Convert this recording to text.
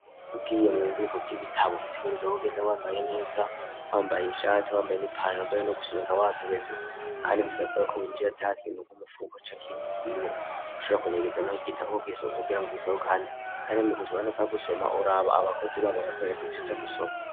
Ugiye mu bubiko bw'ibitabo utegerezwa kugenda wambaye neza wambaye ishati wambaye n'ipantaro mbere no gusobeka wasobetse kandi bisabwako winjira atakintu m'umufuko canke ikindi kintu ushobora kunyegezamwo nk'igitabo kugira ngo ugisohokane kandi mu gusoma ntupfa gusoma uraba abakozi baho bakakwereka ivyuja gusoma.